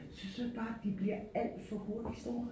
Synes du ikke bare de bliver alt for hurtigt store?